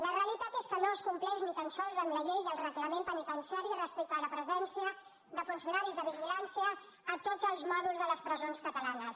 la realitat és que no es compleix ni tan sols amb la llei i el reglament penitenciari respecte de la presència de funcionaris de vigilància a tots els mòduls de les presons catalanes